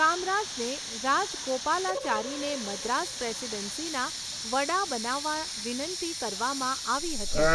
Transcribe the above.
કામરાજને રાજગોપાલાચારીને મદ્રાસ પ્રેસિડેન્સીના વડા બનાવવા વિનંતી કરવામાં આવી હતી.